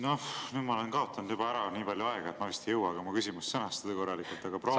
Noh, nüüd ma olen kaotanud juba ära nii palju aega, et ma vist ei jõuagi oma küsimust sõnastada korralikult, aga proovime.